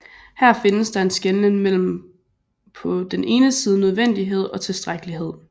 Her findes der en skelnen mellem på den ene side nødvendighed og tilstrækkelighed